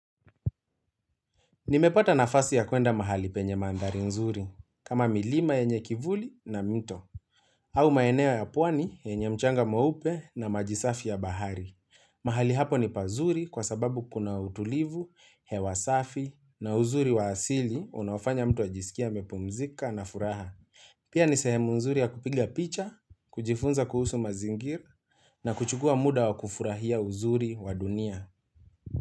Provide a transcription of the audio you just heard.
Nimepata nafasi ya kuenda mahali penye mandhari nzuri, kama milima yenye kivuli na mito. Au maeneo ya puani yenye mchanga meupe na maji safi ya bahari. Mahali hapo ni pazuri kwa sababu kuna utulivu, hewa safi na uzuri wa asili unaofanya mtu ajisikie amepumzika na furaha. Pia ni sehemu nzuri ya kupiga picha, kujifunza kuhusu mazingir na kuchukua muda wa kufurahia uzuri wa dunia.